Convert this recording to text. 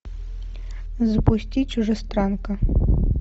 запусти чужестранка